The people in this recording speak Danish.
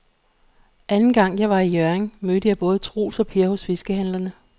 Anden gang jeg var i Hjørring, mødte jeg både Troels og Per hos fiskehandlerne.